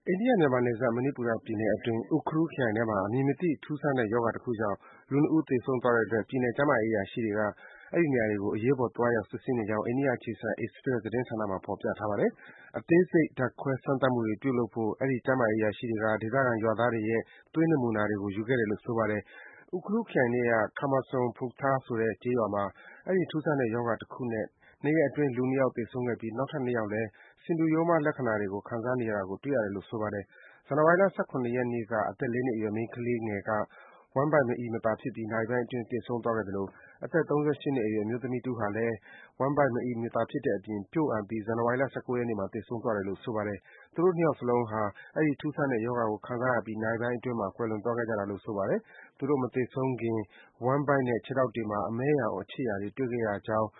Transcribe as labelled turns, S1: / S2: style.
S1: ိန္ဒိယ-မြန်မာနယ်စပ် မဏိပူရပြည်နယ်အတွင်း Ukhrul ခရိုင်ထဲမှာ အမည်မသိ ထူးဆန်းတဲ့ ရောဂါတခုကြောင့် လူ ၂ ဦး သေဆုံးသွားတဲ့အတွက် ပြည်နယ် ကျန်းမာရေးအရာရှိတွေ အဲဒီနေရာကို အရေးပေါ် သွားရောက် စစ်ဆေးနေကြောင်း အိန္ဒိယအခြေစိုက် Express သတင်းဌာနမှာ ဖော်ပြထားပါတယ်။ အသေးစိတ် ဓါတ်ခွဲစမ်းသပ်မှုတွေ ပြုလုပ်ဖို့ အဲဒီ ကျန်းမာရေးအရာရှိတွေက ဒေသခံ ကျေးရွာသားတွေရဲ့ သွေးနမူနာတွေ ယူခဲ့တယ်လို့ ဆိုပါတယ်။ Ukhrul ခရိုင်ထဲက Khamasom Phungthar ဆိုတဲ့ ကျေးရွာမှာ အဲဒီထူးဆန်းတဲ့ ရောဂါတခုနဲ့ ၂ ရက်အတွင်း လူ ၂ ယောက်သေဆုံးခဲ့ပြီး နောက်ထပ် ၂ ယောက်လည်း ဆင်တူရိုးမှား ရောဂါလက္ခဏာတွေ ခံစားနေရတာကို တွေ့ရတယ်လို့ ဆိုပါတယ်။ ဇန်နဝါရီလ ၁၇ ရက်နေ့က အသက် ၄ နှစ်အရွယ် မိန်းကလေးငယ်လေးဟာ ဝမ်းဗိုက်မအီမသာဖြစ်ပြီး နာရီပိုင်းအတွင်း သေဆုံးသွားခဲ့သလို အသက် ၃၈ နှစ်အရွယ် အမျိုးသမီးတဦးဟာလည်း ဝမ်းဗိုက်မအီမသာဖြစ်တဲ့အပြင် ပျို့အန်ပြီး ဇန်နဝါရီလ ၁၉ ရက်နေ့မှာ သေဆုံးသွားတယ်လို့ ဆိုပါတယ်။ သူတို့ ၂ ယောက်စလုံးဟာ အဲဒီ ထူးဆန်းတဲ့ ရောဂါကို ခံစားရပြီး နာရီပိုင်းအတွင်းမှာတင် ကွယ်လွန်သွားခဲ့ကြတာပါ။ သူတို့ မသေဆုံးခင်မှာ ဝမ်းဗိုက်နဲ့ ခြေထောက်တွေမှာ အမဲရောင် အခြစ်ရာတွေ တွေ့ခဲ့ရကြောင်း